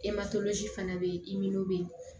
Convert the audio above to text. fana bɛ yen bɛ yen